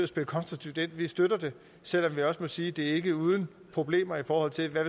spille konstruktivt ind vi støtter det selv om vi også må sige at det ikke er uden problemer i forhold til hvad